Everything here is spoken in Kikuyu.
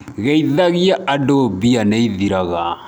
Geithagia andũ mbia nĩithiraga.